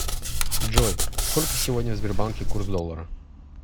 джой сколько сегодня в сбербанке курс доллара